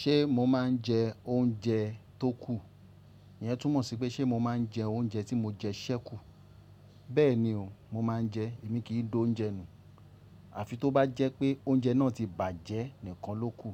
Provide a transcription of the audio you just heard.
Ṣé mo máa ń jẹ oúnjẹ tó kù? Ìyẹn túmọ̀ sí pé ṣe mo máa ń jẹ oúnjẹ tí mo jẹ sẹ́kù? Bẹ́ẹ̀ni o, mo máa ń jẹ, èmi kìí dò oúnjẹ nù. Àfi tó bá jẹ́ pé oúnjẹ náà ti bàjẹ́ nìkan ló kù.